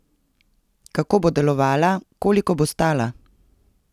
Kako bo delovala, koliko bo stala?